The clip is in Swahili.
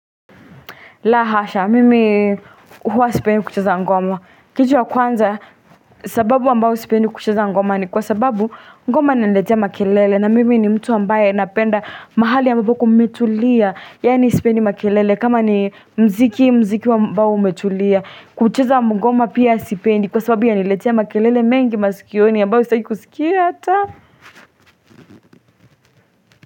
La hasha mimi huwa sipendi kucheza ngoma kitu wa kwanza sababu ambao sipendi kuchuza ngoma ni kwa sababu ngoma inaniletea makelele na mimi ni mtu ambaye napenda mahali ambapo kumetulia yaani sipendi makelele kama ni mziki mziki ambao umetulia kucheza ngoma pia sipendi kwa sababu yaniletea makelele mengi masikioni ambayo sitaki kusikia hata.